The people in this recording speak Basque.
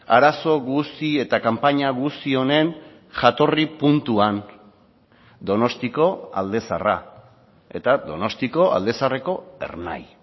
arazo guzti eta kanpaina guzti honen jatorri puntuan donostiko alde zaharra eta donostiako alde zaharreko ernai